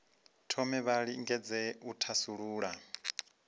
thome vha lingedze u thasulula